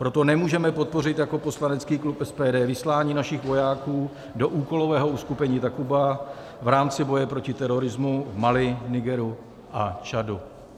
Proto nemůžeme podpořit jako poslanecký klub SPD vyslání našich vojáků do úkolového uskupení Takuba v rámci boje proti terorismu v Mali, Nigeru a Čadu.